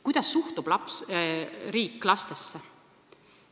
Kuidas suhtub riik lastesse?